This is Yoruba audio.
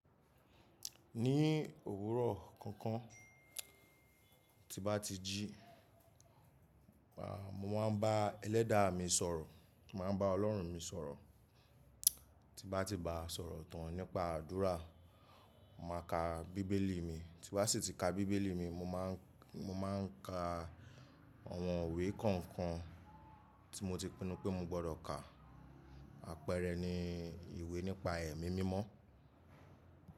Ní òwúrọ̀ kọ̀ọ̀kan tí n bá ti jí, màá mo ma n bá Ẹlẹ́dàá mi sọ̀rọ̀, mo máa n bá Ọlọ́run mi sọ̀rọ̀. Tí bá ti ba sọ̀rọ̀ tán nípa àdúrà, màá ka Bíbélì mi, tí wá sì ti ka Bíbélì mi, mo máà ń ka àwọn ìwé kọ̀ọ̀kan tí mo ti pinnu pé mo gbọ́dọ̀ ká. Àpẹẹrẹ ni ìwé nípa ẹ̀mí mímọ́.